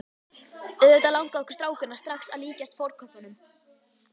Auðvitað langaði okkur strákana strax að líkjast fornköppunum.